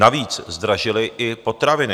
Navíc zdražily i potraviny.